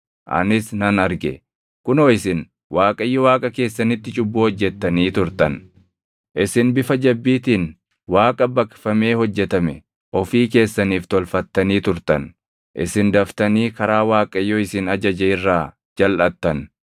Anis nan arge; kunoo isin Waaqayyo Waaqa keessanitti cubbuu hojjettanii turtan; isin bifa jabbiitiin Waaqa baqfamee hojjetame ofii keessaniif tolfattanii turtan. Isin daftanii karaa Waaqayyo isin ajaje irraa jalʼattan.